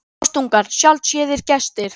Rostungar sjaldséðir gestir